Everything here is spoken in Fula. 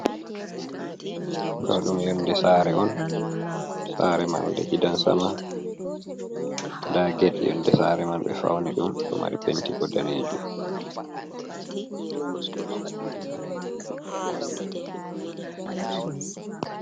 Ɗo dum yonde sare on. Sare marnde gidan sama, nda get yonde sare man ɓe fauni ɗum ɗo mari penti bo danejum.